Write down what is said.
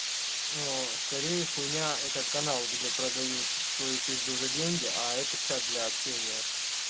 ну скорее хуйня это каналы где продают свою пизду за деньги а это чат для общения